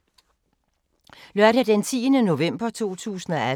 Lørdag d. 10. november 2018